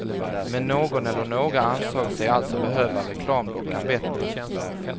Men någon eller några ansåg sig alltså behöva reklamdockan bättre.